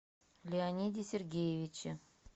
леониде сергеевиче